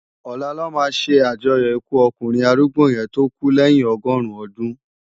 Òlá lò má sé ájòyò ikú òkúnrin árúgbó yèn tó kú lèyin ọgọrun òdún